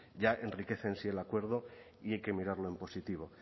ya enriquece en sí el acuerdo y hay que mirarlo en positivo